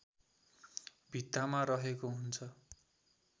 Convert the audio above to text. भित्तामा रहेको हुन्छ